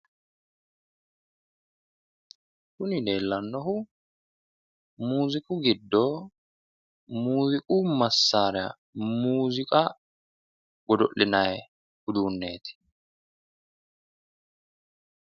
kuni leellennohu muziiqu giddo muziiqu massaara muziiqa godo'linayi uduunneeti.